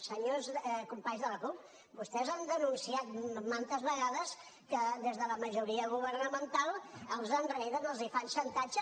senyors companys de la cup vostès han denunciat mantes vegades que des de la majoria governamental els enreden els fan xantatge